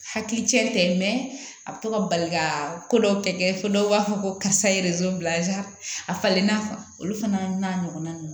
Hakili cɛ tɛ a bɛ to ka bali ka ko dɔw kɛ fo dɔw b'a fɔ ko karisa ye bila a falenna olu fana n'a ɲɔgɔnna ninnu